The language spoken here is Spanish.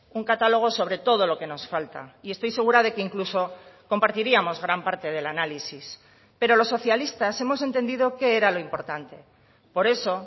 un catálogo sobre todo lo que nos falta y estoy segura de que incluso compartiríamos gran parte del análisis pero los socialistas hemos entendido que era lo importante por eso